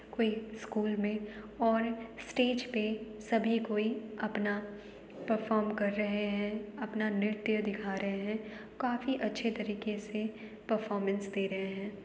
कोई स्कूल मे और स्टेज पे सभी कोई अपना परफॉर्म कर रहे हैं अपना नृत्य दिखा रहे है। काफी अच्छे तरीके से परफॉरमेंस दे रहे हैं।